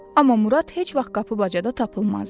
Amma Murad heç vaxt qapı-bacada tapılmazdı.